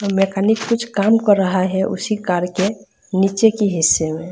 Mechanic कुछ काम कर रहा है उसी कार के नीचे के हिस्से में।